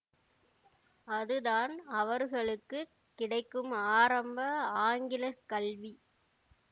அதுதான் அவர்களுக்கு கிடைக்கும் ஆரம்ப ஆங்கிலக் கல்வி